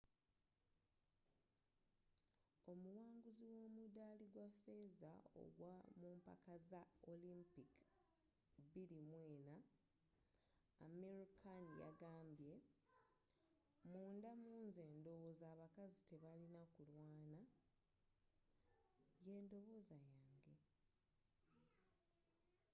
omuwanguzi w’omudaali gwa feeza ogwa mumpaka za olympic 2004 amir khan yagambye munda munze ndowooza abakazi tebalina kulwaana.yendowooza yange.